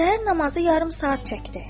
Səhər namazı yarım saat çəkdi.